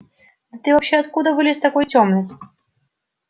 да ты вообще откуда вылез такой тёмный